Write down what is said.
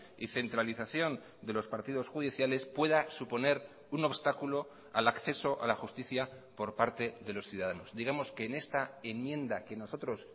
y centralización de los partidos judiciales pueda suponer un obstáculo al acceso a la justicia por parte de los ciudadanos digamos que en esta enmienda que nosotros